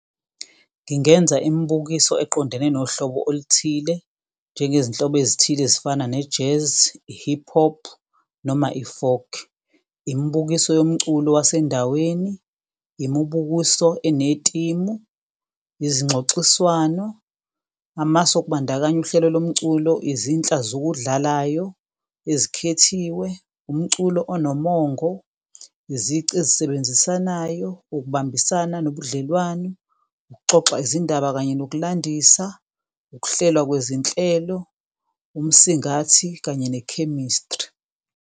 Ngingenza imibukiso eqondene nohlobo oluthile njengezinhlobo ezithile ezifana ne-Jazz, i-Hip-hop noma i-Folk, imibukiso yomculo wasendaweni, imibukiso enetimu, izingxoxiswano, amasu okubandakanya uhlelo lomculo, izinhla zokudlalayo ezikhethiwe, umculo onomongo, izici ezisebenzisanayo, ukubambisana nobudlelwano, ukuxoxa izindaba kanye nokulandisa, ukuhlelwa kwezinhlelo, umsingathi kanye ne-chemistry.